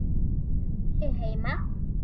Er Lúlli heima?